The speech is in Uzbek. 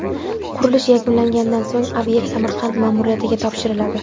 Qurilish yakunlangandan so‘ng obyekt Samarqand ma’muriyatiga topshiriladi.